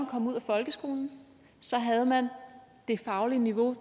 kom ud af folkeskolen så havde man det faglige niveau